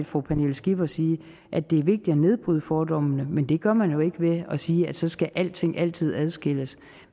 fru pernille skipper sige at det er vigtigt at nedbryde fordommene men det gør man jo ikke ved at sige at så skal alting altid adskilles